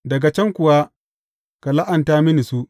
Daga can kuwa, ka la’anta mini su.